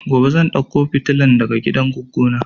Gobe zan dauko fitilan daga gidan goggo na